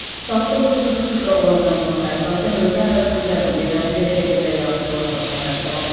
Saat 9:00-a olan məlumata əsasən ölkə ərazisinin bəzi yerlərində küləkli və yağıntılı hava şəraiti davam edir.